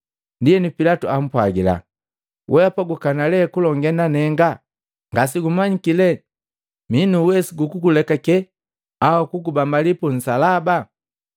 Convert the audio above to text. Ndienu Pilatu ampwagila, “Wehapa gukana le kulongee na nenga? Ngasegumanyiki le minu uwesu gukugulekake au kugubambali punsalaba?”